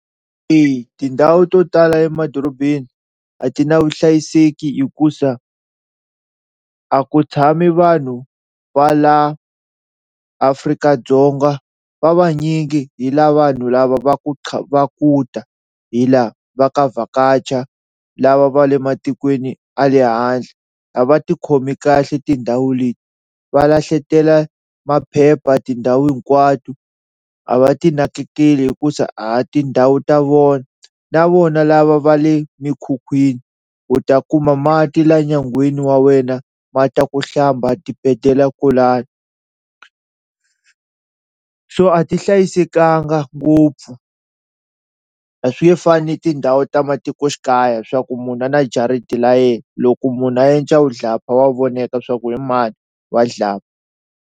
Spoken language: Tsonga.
Eya tindhawu to tala emadorobeni a ti na vuhlayiseki hikuza a ku tshami vanhu va la Afrika-Dzonga va vanyingi hi lava vanhu lava va ku va ku ta hi la va ta vhakacha lava va le matikweni a le handle, a va tikhomi kahle tindhawu leti va lahletela maphepha tindhawu hinkwato a va ti nakekeli hikuza a hi tindhawu ta vona na vona lava va le mikhukhwini u ta kuma mati la nyangweni wa wena mati ya ku hlamba a dibetela kwolano, so a ti hlayisekanga ngopfu a swi nge fani ni tindhawu ta matikoxikaya swa ku munhu na jariti la yehe loko munhu a yenca vudlapha wa vonaka swa ku hi mani wa .